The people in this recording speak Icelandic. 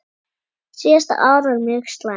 Síðasta ár var mjög slæmt.